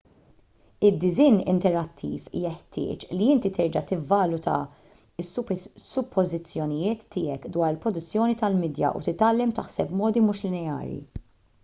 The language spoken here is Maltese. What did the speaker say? id-disinn interattiv jeħtieġ li inti terġa' tivvaluta s-suppożizzjonijiet tiegħek dwar il-produzzjoni tal-midja u titgħallem taħseb b'modi mhux lineari